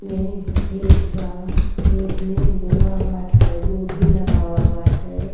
ये खेत बा। खेत में बोवा बाटे गोभी लगावा बाटे।